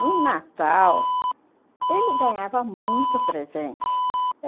No natal, ele ganhava muito presente.